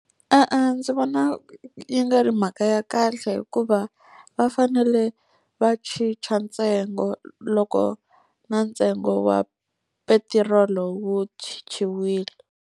E-e, ndzi vona yi nga ri mhaka ya kahle hikuva va fanele va chicha ntsengo loko na ntsengo wa petirolo wu chichiwile.